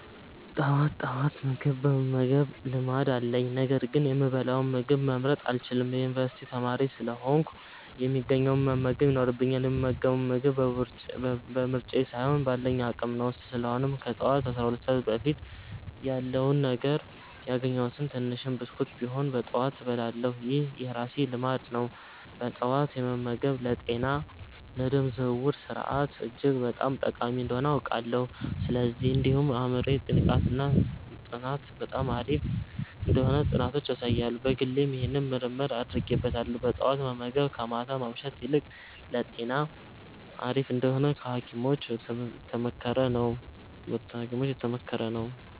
ጠዋት ጠዋት ምግብ የመመገብ ልማድ አለኝ፤ ነገር ግን የምበላውን ምግብ መምረጥ አልችልም። የዩኒቨርሲቲ ተማሪ ስለሆንኩ፣ የሚገኘውን መመገብ ይኖርብኛል፣ የምመገበው ምግብ በምርጫዬ ሳይሆን ባለኝ አቅም ነው። ስለሆነም ከጠዋቱ 12 ሰዓት በፊት ያለውን ነገር፣ ያገኘሁትን ትንሽም ብስኩት ቢሆንም በጠዋት እበላለሁ። ይህ የራሴ ልማድ ነው። ጠዋት መመገብ ለጤና፣ ለደም ዝውውር ስርዓት እጅግ በጣም ጠቃሚ እንደሆነ አውቃለሁ። እንዲሁም ለአእምሮ ንቃት እና ለጥናት በጣም አሪፍ እንደሆነ ጥናቶች ያሳያሉ። በግሌም ይህንን ምርምር አድርጌበታለሁ። ጠዋት መመገብ ከማታ ማምሸት ይልቅ ለጤና አሪፍ እንደሆነ በሀኪሞችም የተመከረ ነው።